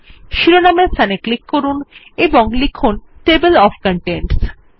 শিরোনামের স্থানে ক্লিক করুন এবং লিখুন টেবল ওএফ কনটেন্টস